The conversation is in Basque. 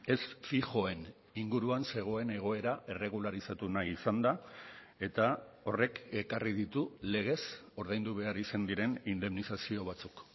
ez fijoen inguruan zegoen egoera erregularizatu nahi izan da eta horrek ekarri ditu legez ordaindu behar izan diren indemnizazio batzuk